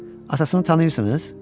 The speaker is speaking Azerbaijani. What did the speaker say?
Atasını tanıyırsınız?